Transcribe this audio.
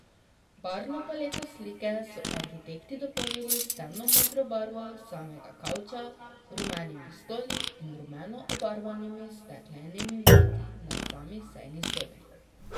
Barvno paleto slike so arhitekti dopolnili s temnomodro barvo samega kavča, rumenimi stoli in rumeno obarvanimi steklenimi vrati na sami sejni sobi.